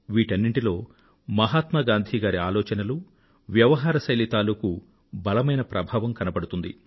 వీటన్నింటిలో మహాత్మా గాంధీ గారి ఆలోచనలూ వ్యవహార శైలి తాలూకూ బలమైన ప్రభావం కనబడుతుంది